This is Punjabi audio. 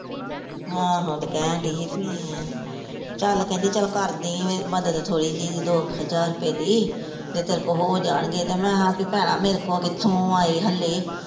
ਆਹੋ ਤੇ ਕਹਿਣ ਡੀ ਭੀ ਚੱਲ ਕਹਿੰਦੀ ਚੱਲ ਕਰਦੀਂ ਮੱਦਦ ਥੋੜੀ ਜਹੀ ਦੋ ਹਜ਼ਾਰ ਰੁਪਏ ਦੀ ਜੇ ਤੇਰੇ ਕੋ ਹੋ ਜਾਣਗੇ ਤੇ ਮੈਂ ਹਾ ਕੀ ਭੈਣਾਂ ਮੇਰੇ ਕੋਲ ਕਿੱਥੋਂ ਆਏ ਹੱਲੇ।